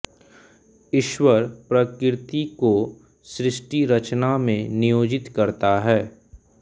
ईश्वर प्रकृति को सृष्टिरचना में नियोजित करता है